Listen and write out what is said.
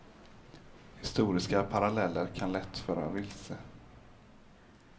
Historiska paralleller kan lätt föra vilse.